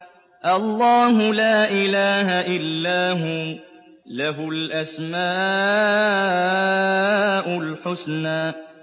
اللَّهُ لَا إِلَٰهَ إِلَّا هُوَ ۖ لَهُ الْأَسْمَاءُ الْحُسْنَىٰ